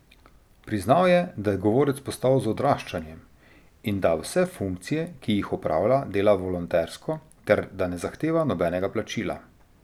Priznal je, da je govorec postal z odraščanjem, in da vse funkcije, ki jih opravlja, dela volontersko, ter da ne zahteva nobenega plačila.